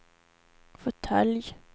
fåtölj